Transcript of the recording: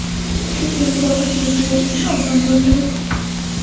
Chunki musofirchilikda yashash oson bo‘lmaydi.